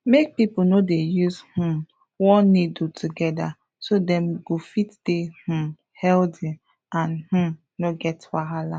make people no dey use um one needle together so dem go fit dey um healthy and um no get wahala